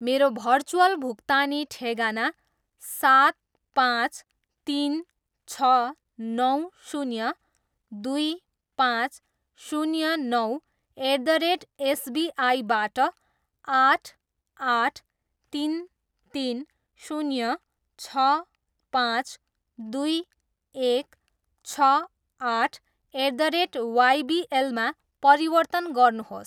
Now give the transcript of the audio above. मेरो भर्चुअल भुक्तानी ठेगाना सात, पाँच, तिन, छ, नौ, शून्य, दुई, पाँच, शून्य, नौ, एट द रेट एसबिआईबाट आठ, आठ, तिन, तिन, शून्य, छ, पाँच, दुई, एक, छ, आठ, एट द रेट वाइबिएलमा परिवर्तन गर्नुहोस्।